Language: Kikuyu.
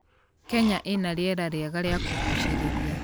Kenya ĩna rĩera rĩega rĩa kũgucĩrĩria.